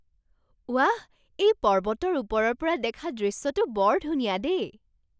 ৱাহ! এই পৰ্বতৰ ওপৰৰ পৰা দেখা দৃশ্যটো বৰ ধুনীয়া দেই!